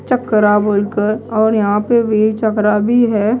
चक्रा बोलकर और यहां पे भी चक्रा भी है।